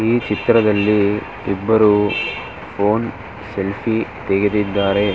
ಈ ಚಿತ್ರದಲ್ಲಿ ಇಬ್ಬರು ಫೋನ್ ಸೆಲ್ಫಿ ತೆಗೆದಿದ್ದಾರೆ.